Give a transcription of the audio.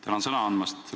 Tänan sõna andmast!